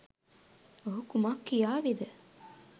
ඔහු කුමක් කියාවිද?